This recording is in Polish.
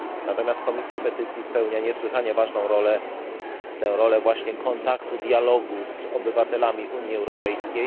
Natomiast Komisja Petycji spełnia niesłychanie ważną rolę tę rolę właśnie kontaktu, dialogu z obywatelami Unii Europejskiej.